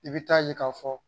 I bɛ taa ye k'a fɔ